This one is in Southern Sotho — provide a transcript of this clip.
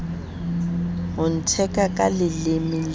ho ntheka ka leleme le